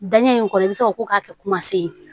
Daɲɛ in kɔnɔ i bɛ se ka ko k'a kɛ kuma se ye